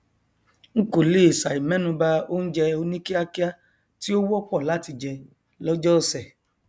n kò lè sàì mẹnuba oúnjẹ oní kíakía tí ó wọpọ láti jẹ lọjọ ọsẹ